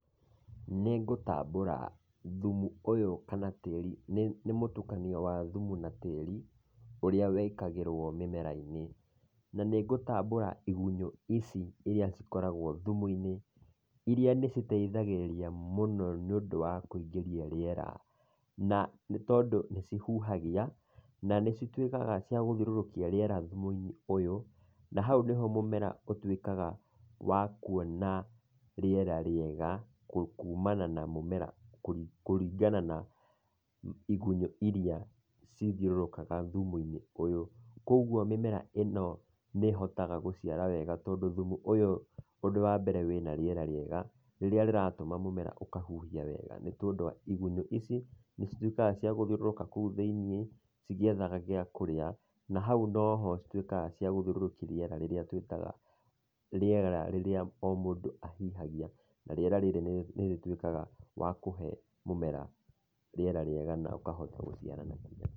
Nĩ ngũtambũra thumu ũyũ kana tĩri, nĩ mũtukanio wa thumu ma tĩri, ũrĩa wĩkagĩrwo mĩmera-inĩ. Na nĩ ngũtambũra igunyũ ici iria cikoragwo thumu-inĩ iria nĩ citethagĩrĩria mũno nĩ ũndũ wa kũingĩria rĩera, na nĩ tondũ nĩ cihuhagia na cituĩkaga cia gũthiũrũrũkia rĩera thimũ-inĩ ũyũ na hau nĩho mũmera ũtuĩkaga wa kuona rĩera rĩega kumana na mũmera, kũringana na igunyũ iria cithiũrũrũkaga thumu-inĩ ũyũ. Koguo mĩmera ĩno nĩ hotaga gũciara wega tondũ thumu ũyũ ũndũ wa mbere wĩna rĩera rĩega, rĩrĩa rĩratũma mũmera ũkahuhia wega nĩ tondũ wa igunyũ ici, nĩcituĩkaga cia gũthiũrũrũka kũu thĩinĩ cigĩethaga wa kũrĩa na hau noho cituĩkaga cia gĩthiũrũkia rĩera rĩrĩa twĩtaga, rĩera rĩrĩa o mũndũ ahihagia, na rĩera rĩrĩ nĩ rĩtuĩkaga wakũhe mũmera rĩera rĩega na ũkahota gũciarana.